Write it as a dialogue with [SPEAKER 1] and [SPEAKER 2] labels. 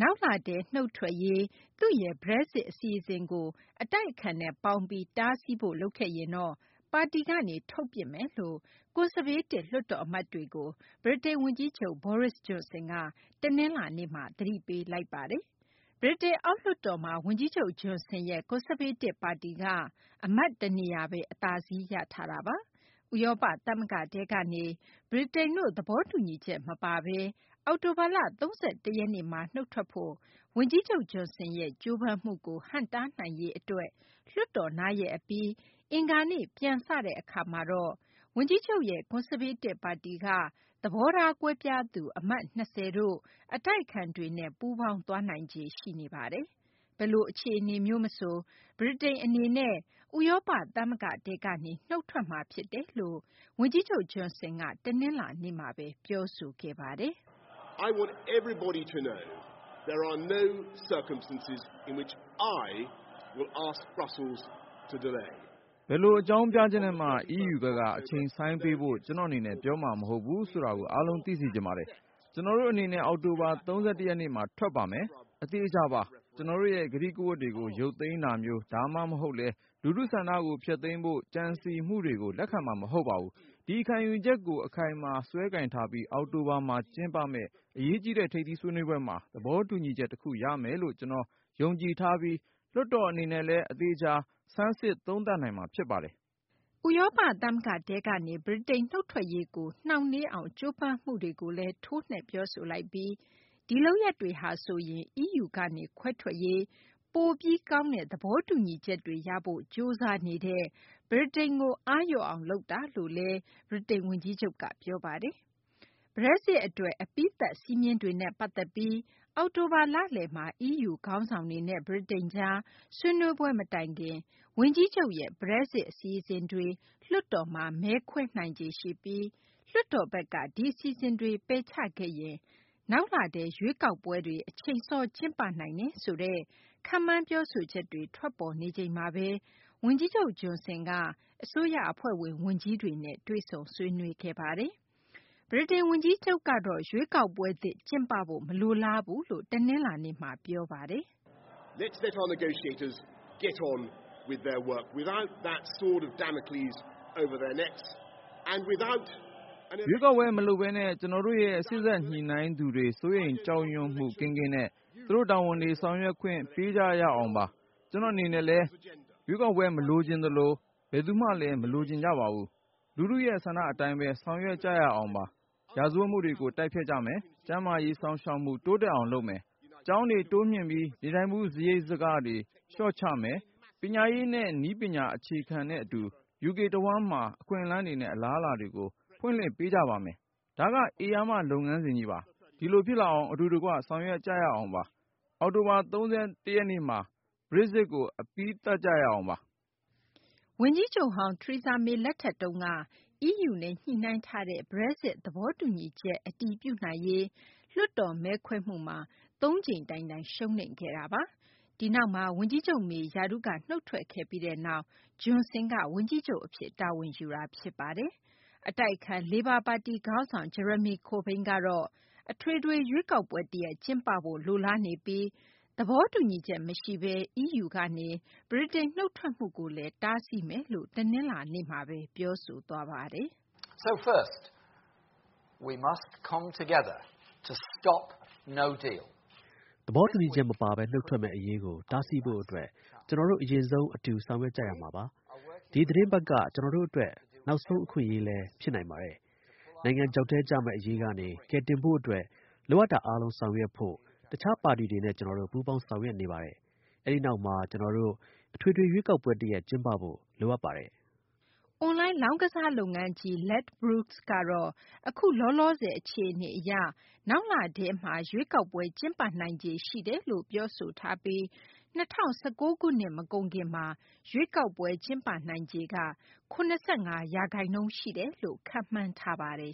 [SPEAKER 1] နောက်လထဲ နုတ်ထွက်ရေး သူ့ရဲ့ Brexit အစီအစဉ်ကို အတိုက်အခံနဲ့ ပေါင်းပြီး တားဆီးဖို့ လုပ်ခဲ့ရင်တော့ ပါတီကနေ ထုတ်ပစ်မယ်လို့ ကွန်ဆာဗေးတစ် လွှတ်တော် အမတ်တွေကို ဗြိတိန် ဝန်ကြီးချုပ် Boris Johnson က တနလာၤနေ့မှာ သတိပေးလိုက်ပါတယ်။ ဗြိတိန် အောက်လွှတ်တော်မှာ ဝန်ကြီးချုပ် Johnson ရဲ့ ကွန်ဆာဗေးတစ် ပါတီက အမတ် တနေရာဘဲ အသာစီး ရထားတာပါ။ ဥရောပ သမဂ္ဂထဲကနေ ဗြိတိန်တို့ သဘောတူညီချက် မပါဘဲ အောက်တိုဘာလ ၃၁ ရက်နေ့မှာ နုတ်ထွက်ဖို့ ဝန်ကြီးချုပ် Johnson ရဲ့ ကြိုးပမ်းမှုကို ဟန့်တားနိုင်ရေး အတွက် လွှတ်တော်နားရက် အပြီး အင်္ဂါနေ့မှာ ပြန်စတဲ့ အခါမှာတော့ ဝန်ကြီးချုပ်ရဲ့ ကွန်ဆာဗေးတစ် ပါတီက သဘောထား ကွဲပြားသူ အမတ် ၂၀ တို့ အတိုက်အခံတွေနဲ့ ပူးပေါင်းသွားနိုင်ခြေ ရှိနေတာပါ။ ဘယ်လို အခြေအနေမျိုး မဆို ဗြိတိန် အနေနဲ့ ဥရောပ သမဂ္ဂထဲကနေ နုတ်ထွက်မှာ ဖြစ်တယ်လို့ ဝန်ကြီးချုပ် Johnson က တနလာၤနေ့မှာဘဲ ပြောဆိုခဲ့ပ
[SPEAKER 2] ါတယ်။ “ဘယ်လို အကြောင်းပြချက်နဲ့မှ EU ဘက်က အချိန်ဆိုင်းပေးဖို့ ကျနော့် အနေနဲ့ ပြောမှာ မဟုတ်ဘူးဆိုတာကို အားလုံး သိစေချင်ပါတယ်။ ကျနော်တို့ အနေနဲ့ အောက်တိုဘာလ ၃၁ ရက်နေ့မှာ ထွက်ပါမယ်။ အသေအချာပါ။ ကျနော်တို့ရဲ့ ကတိကဝတ်တွေကို ရုပ်သိမ်းတာမျိုး ဒါမှမဟုတ်လည်း လူထုဆန္ဒကို ဖျက်သိမ်းဖို့ ကြံစည်မှုတွေကို လက်ခံမှာ မဟုတ်ပါဘူး။ ဒီခံယူချက်ကို အခိုင်အမာ စွဲကိုင်ထားပြီး အောက်တိုဘာမှာ ကျင်းပမယ့် အရေးကြီးတဲ့ ထိပ်သီးဆွေးနွေးပွဲမှာ သဘောတူညီချက် တခု ရမယ်လို့ ကျနော် ယုံကြည်ထားပြီး လွှတ်တော် အနေနဲ့လည်း အသေအချာ ဆန်းစစ်သုံးသပ်နိုင်မှာ ဖြစ်ပါတယ်
[SPEAKER 1] ။ ဥရောပ သမဂ္ဂထဲကနေ ဗြိတိန် နုတ်ထွက်ရေးကို နှောင့်နှေးအောင် ကြိုးပမ်းမှုတွေကိုလည်း ထိုးနှက် ပြောဆိုလိုက်ပြီး ဒီလုပ်ရပ်တွေဟာဆိုရင် EU ကနေ ခွဲထွက်ရေး ပိုပြီး ကောင်းတဲ့ သဘောတူညီချက်တွေ ရဖို့ ကြိုးစားနေတဲ့ ဗြိတိန်ကို အားလျော့အောင် လုပ်တာလို့လည်း ဗြိတိန် ဝန်ကြီးချုပ်က ပြောပါတယ်။ Brexit အတွက် အပြီးသတ် စည်းမျဉ်းတွေနဲ့ ပတ်သက်ပြီး အောက်တိုဘာလလယ်မှာ EU ခေါင်းဆောင်တွေနဲ့ ဗြိတိန်ကြား ဆွေးနွေးပွဲ မတိုင်ခင် ဝန်ကြီးချုပ်ရဲ့ Brexit အစီအစဉ်တွေ လွှတ်တော်မှာ မဲခွဲနိုင်ခြေ ရှိပြီး၊ လွှတ်တော်ဘက်က ဒီအစီအစဉ်တွေ ပယ်ချခဲ့ရင် နောက်လထဲ ရွေးကောက်ပွဲတွေ အချိန်စော ကျင်းပနိုင်တယ်ဆိုတဲ့ ခန့်မှန်း ပြောဆိုချက်တွေ ထွက်ပေါ်နေချိန်မှာဘဲ ဝန်ကြီးချုပ် Johnson က အစိုးရ အဖွဲ့ဝင် ဝန်ကြီးတွေနဲ့ တွေ့ဆုံဆွေးနွေးခဲ့ပါတယ်။ ဗြိတိန် ဝန်ကြီးချုပ်ကတော့ ရွေးကောက်ပွဲသစ် ကျင်းပဖို့ မလိုလားဘူးလို့ တနလာၤနေ့မှာ ပြောဆိုသွားပါတယ်။
[SPEAKER 2] “ရွေးကောက်ပွဲ မလုပ်ဘဲနဲ့ ကျနော်တို့ရဲ့ စေ့စပ် စိုးရိမ်ကြောက်ရွံ့မှု ကင်းကင်းနဲ့ သူတို့ တာဝန်တွေ ဆောင်ရွက်ခွင့် ပေးကြရအောင်ပါ။ ကျနော့် အနေနဲ့လည်း ရွေးကောက်ပွဲ မလိုချင်သလို ဘယ်သူမှလည်း မလိုချင်ကြပါဘူး။ လူထုရဲ့ ဆန္ဒ အတိုင်းဘဲ ဆောင်ရွက်ကြရအောင်ပါ။ ရာဇဝတ်မှုတွေကို တိုက်ဖျက်ကြမယ်၊ ကျန်းမာရေး စောင့်ရှောက်မှု တိုးတက်အောင် လုပ်မယ်၊ ကျောင်းတွေ တိုးမြှင့်ပြီး နေထိုင်မှု စာရိတ်စာကတွေ လျှော့ချမယ်၊ ပညာရေးနဲ့ နည်းပညာ အခြေခံနဲ့အတူ UK တဝန်းမှာ အခွင့်အလမ်းတွေနဲ့ အလားအလာတွေကို ဖွင့်လှစ်ပေးကြပါမယ်။ ဒါက ဧရာမ လုပ်ငန်းစဉ်ကြီးပါ။ ဒီလို ဖြစ်လာအောင် အတူတကွ ဆောင်ရွက်ကြရအောင်ပါ။ အောက်တိုဘာလ ၃၁ ရက်နေ့မှာ Brexit ကို အပြီးသတ်ကြရအောင်ပါ
[SPEAKER 1] ။” ဗြိတိန် ဝန်ကြီးချုပ်ဟောင်း Theresa May လက်ထက်တုန်းက EU နဲ့ ညှိနှိုင်းထားတဲ့ Brexit သဘောတူညီချက်ကို အတည်ပြုနိုင်ရေး လွှတ်တော် မဲခွဲမှုမှာ သုံးကြိမ် တိုင်တိုင် ရှုံးနိမ့်ခဲ့တာပါ။ ဒီနောက်မှာ ဝန်ကြီးချုပ် May က ရာထူးက နုတ်ထွက်ခဲ့ပြီးနောက် Johnson က ဝန်ကြီးချုပ် အဖြစ် တာဝန်ယူခဲ့တာ ဖြစ်ပါတယ်။ အတိုက်အခံ လေဘာပါတီ ခေါင်းဆောင် Jeremy Corbyn ကတော့ အထွေထွေ ရွေးကောက်ပွဲ တရပ်ကျင်းပဖို့ လိုလားနေပြီး သဘောတူညီချက် မရှိဘဲ EU ကနေ ဗြိတိန် နုတ်ထွက်မှုကိုလည်း တားဆီးမယ်လို့ တနလာၤနေ့မှာ ပြောဆိုထားတာပါ။
[SPEAKER 2] “
[SPEAKER 3] သဘောတူညီချက် မပါဘဲ နုတ်ထွက်မယ့် အရေးကို တားဆီးဖို့ အတွက် ကျနော်တို့ အရင်ဆုံး အတူဆောင်ရွက်ကြရမှာပါ။ ဒီသီတင်းပတ်က ကျနော်တို့ အတွက် နောက်ဆုံး အခွင့်အရေးလည်း ဖြစ်နိုင်ပါတယ်။ နိုင်ငံ ချောက်ထဲ ကျတော့မယ့် အရေးကနေ ကယ်တယ်ဖို့ အတွက် လိုအပ်တာ အားလုံး ဆောင်ရွက်ဖို့ တခြား ပါတီတွေနဲ့ ကျနော်တို့ ပူးပေါင်းဆောင်ရွက်နေပါတယ်။ အဲဒီနောက်မှာ ကျနော်တို့ အထွေထွေ ရွေးကောက်ပွဲ တရပ် ကျင်းပဖို့ လိုအပ်ပါတယ်။
[SPEAKER 1] ” အွန်လိုင်း လောင်းကစား လုပ်ငန်းကြီး Ladbrokes ကတော့ အခု လောလောဆယ် အခြအနေ အရ နောက်လထဲမှာ ရွေးကောက်ပွဲ ကျင်းပနိုင်ခြေ ရှိတယ်လို့ ပြောဆိုထားပြီး ၂၀၁၉ ခုနှစ် မကုန်ခင်မှာ ရွေးကောက်ပွဲ ကျင်းပနိုင်ခြေ ၇၅ ရာခိုင်နှုန်း ရှိတယ်လို့ ခန့်မှန်းထားပါတယ်